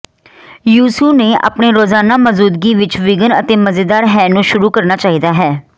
ਯਿਸੂ ਨੇ ਆਪਣੇ ਰੋਜ਼ਾਨਾ ਮੌਜੂਦਗੀ ਵਿਚ ਵਿਘਨ ਅਤੇ ਮਜ਼ੇਦਾਰ ਹੈ ਨੂੰ ਸ਼ੁਰੂ ਕਰਨਾ ਚਾਹੀਦਾ ਹੈ